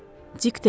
Dik dedi.